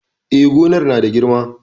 E, gonar na da girma.